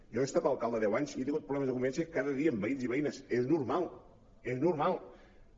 jo he estat alcalde deu anys i he tingut problemes de convivència cada dia amb veïns i veïnes és normal és normal